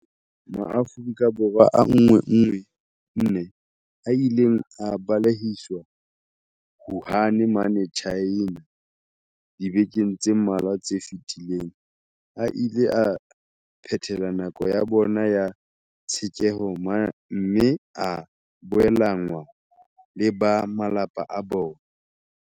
Maafrika Borwa a 114 a ileng a balehiswa Wuhan mane China dibekeng tse mmalwa tse fetileng a ile a phethela nako ya bona ya tshekeho mme a boelanngwa le ba malapa a bona.